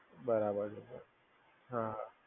બરાબર છે, હા હા.